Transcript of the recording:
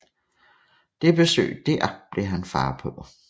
Det besøg dér blev han far på